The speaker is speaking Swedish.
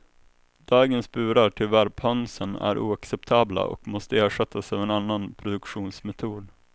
Dagens burar till värphönsen är oacceptabla och måste ersättas av en annan produktionsmetod.